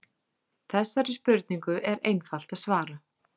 Þessari spurningu er einfalt að svara.